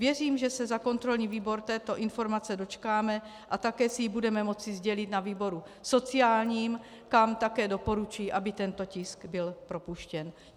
Věřím, že se za kontrolní výbor této informace dočkáme a také si ji budeme moci sdělit na výboru sociálním, kam také doporučuji, aby tento tisk byl propuštěn.